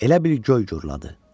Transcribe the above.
Elə bil göy gurladı.